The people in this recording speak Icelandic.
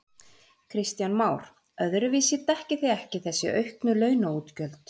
Kristján Már: Öðruvísi dekkið þið ekki þessi auknu launaútgjöld?